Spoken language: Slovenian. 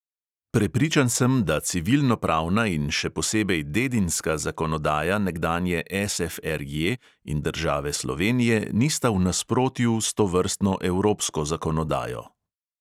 Prepričan sem, da civilnopravna in še posebej dedinska zakonodaja nekdanje SFRJ in države slovenije nista v nasprotju s tovrstno evropsko zakonodajo.